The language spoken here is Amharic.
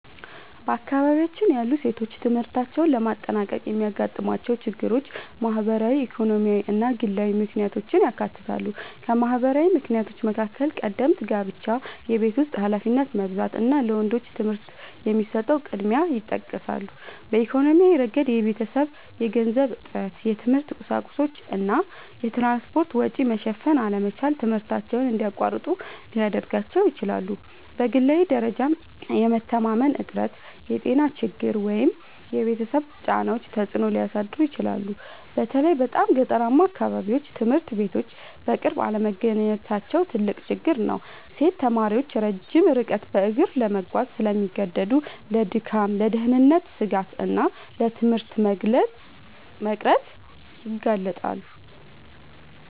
በአካባቢያችን ያሉ ሴቶች ትምህርታቸውን ለማጠናቀቅ የሚያጋጥሟቸው ችግሮች ማህበራዊ፣ ኢኮኖሚያዊ እና ግላዊ ምክንያቶችን ያካትታሉ። ከማህበራዊ ምክንያቶች መካከል ቀደምት ጋብቻ፣ የቤት ውስጥ ኃላፊነት መብዛት እና ለወንዶች ትምህርት የሚሰጠው ቅድሚያ ይጠቀሳሉ። በኢኮኖሚያዊ ረገድ የቤተሰብ የገንዘብ እጥረት፣ የትምህርት ቁሳቁሶች እና የትራንስፖርት ወጪ መሸፈን አለመቻል ትምህርታቸውን እንዲያቋርጡ ሊያደርጋቸው ይችላል። በግላዊ ደረጃም የመተማመን እጥረት፣ የጤና ችግሮች ወይም የቤተሰብ ጫናዎች ተጽዕኖ ሊያሳድሩ ይችላሉ። በተለይ በጣም ገጠራማ አካባቢዎች ትምህርት ቤቶች በቅርብ አለመገኘታቸው ትልቅ ችግር ነው። ሴት ተማሪዎች ረጅም ርቀት በእግር ለመጓዝ ስለሚገደዱ ለድካም፣ ለደህንነት ስጋት እና ለትምህርት መቅረት ይጋለጣሉ